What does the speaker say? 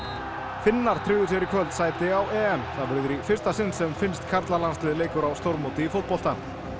Finnar tryggðu sér í kvöld sæti á EM það verður í fyrsta sinn sem finnskt leikur á stórmóti í fótbolta